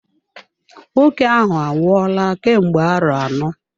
Nwoke ahụ anwụola kemgbe arọ anọ.